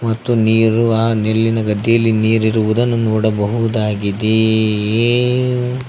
ಮತ್ತು ನೀರು ಅ ನೆಲ್ಲಿನ ಗದ್ದೆಯಲ್ಲಿ ನೀರಿರುವುದನ್ನು ನೋಡಬಹುದಾಗಿದೆ.